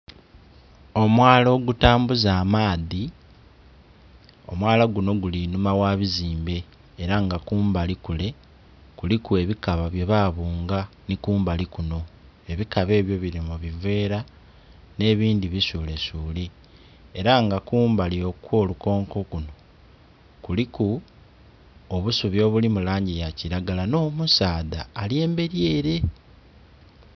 Omwala ogutambuza amaadhi. Omwala guno guli inhuma gha bizimbe era nga kumbali kule kuliku ebikaba byebabunga nhi kumbali kuno. Ebikaba ebyo bili mu biveera nh'ebindhi bisulesule. Era nga kumbali okw'olukonko kuno kuliku obusubi obuli mu langi ya kiragala, nh'omusaadha ali emberi ere.